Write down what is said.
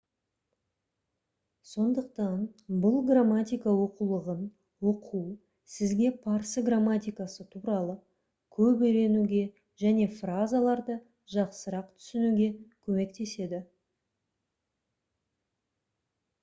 сондықтан бұл грамматика оқулығын оқу сізге парсы грамматикасы туралы көп үйренуге және фразаларды жақсырақ түсінуге көмектеседі